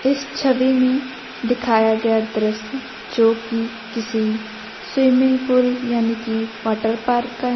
इस छवि में दिखाया गया दृश्य जो कि किसी स्विमिंग पूल यानी कि वाटर पार्क का है।